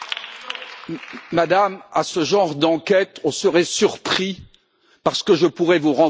Madame, avec ce genre d'enquête, on serait surpris parce que je pourrais vous renvoyer la pareille.